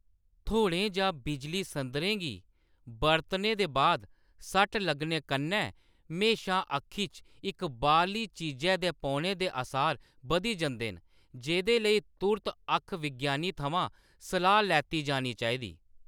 थ्होड़ें जां बिजली-संदरें गी बरतने दे बाद सट्ट लग्गने कन्नै म्हेशां अक्खी च इक बाह्‌रली चीजै दे पौने दे असार बधी जंदे न, जेह्‌दे लेई तुर्त अक्ख-विज्ञानी थमां सलाह् लैती जानी चाहिदी।